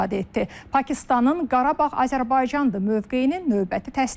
Pakistanın Qarabağ Azərbaycandır mövqeyinin növbəti təsdiqi.